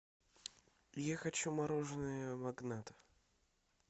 я хочу мороженое магнат